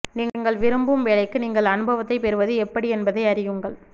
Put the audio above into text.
நீங்கள் விரும்பும் வேலைக்கு நீங்கள் அனுபவத்தைப் பெறுவது எப்படி என்பதை அறியுங்கள்